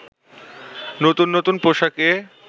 নতুন নতুন পোশাকে